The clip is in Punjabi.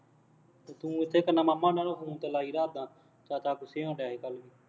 ਤੂੰ ਉੱਥੇ ਕਹਿੰਦਾ ਮਾਮਾ ਉਹਨਾ ਨੂੰ ਫੋਨ ਤੇ ਲਾਈ ਰੱਖਦਾ, ਚਾਚਾ ਗੁੱਸੇ ਹੋਣ ਡਿਆ ਸੀ ਕੱਲ੍ਹ